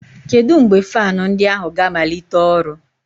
Kedu mgbe fan ndi ahu ga-amalite ọrụ?